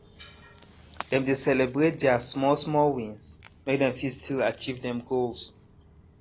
dem dey celebrate deir smallsmall wins make dem fit still achieve dem goals